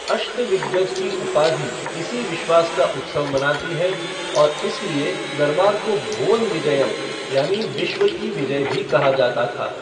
अष्टदिग्गज की उपाधि इसी विश्वास का उत्सव मनाती है और इसलिए दरबार को भुवन विजयम यानि विश्व की विजय भी कहा जाता था।